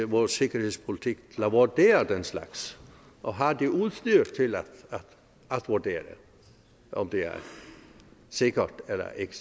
vores sikkerhedspolitik at vurdere den slags og har det udstyr til at vurdere om det er sikkert eller ikke